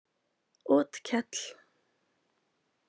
Otkell